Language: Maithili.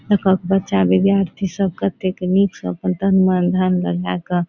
देखाक बच्चा विद्यार्थी सब कतेक निक से अपन तन मन धन लगा के --